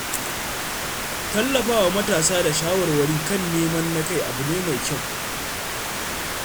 Tallafa wa matasa da shawarwari kan neman na-kai abu ne mai kyau.